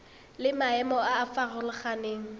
le maemo a a farologaneng